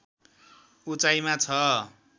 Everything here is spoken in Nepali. उचाइमा छ